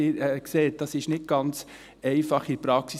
Sie sehen, es ist eine nicht ganz einfache Praxis.